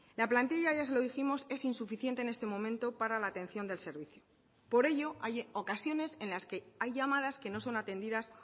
la plantilla ya se lo dijimos es insuficiente en este momento para la atención del servicio por ello hay ocasiones en las que hay llamadas que no son atendidas